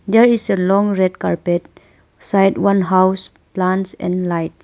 There is a long red carpet. Side one house plants and light.